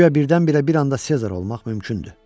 Guya birdən-birə bir anda Sezar olmaq mümkündür.